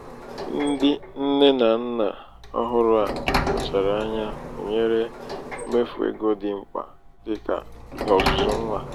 ndị nne na nna ọhụrụ a kpachara anya hunyere mmefu eg dị mkpa dị ka ọzụzụ nwa.